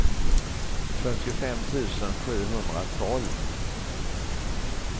fyrtiofem tusen sjuhundratolv